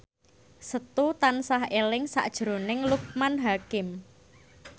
Setu tansah eling sakjroning Loekman Hakim